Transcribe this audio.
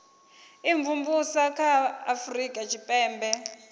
imvumvusa kha a afurika tshipembe